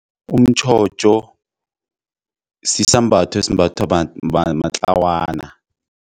Umtjhotjho sisambatho esimbathwa matlawana.